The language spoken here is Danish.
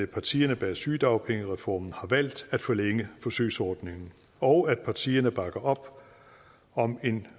partierne bag sygedagpengereformen har valgt at forlænge forsøgsordningen og at partierne bakker op om en